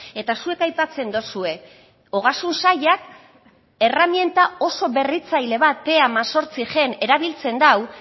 eta zuek aipatzen dozue ogasun sailak erreminta oso berritzaile bat erabiltzen da